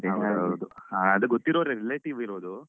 ಹೌದೌದು. ಅಹ್ ಅದು ಗೊತ್ತಿರೋರೇ relative ಇರೋದು.